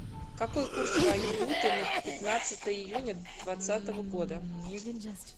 какой курс валюты на пятнадцатое июня двадцатого года